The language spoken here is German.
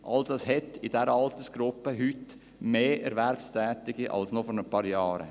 Also hat es in dieser Altersgruppe heute mehr Erwerbstätige als noch vor ein paar Jahren.